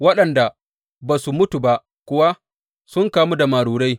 Waɗanda ba su mutu ba kuwa, sun kamu da marurai.